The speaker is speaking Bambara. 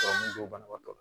banabaatɔ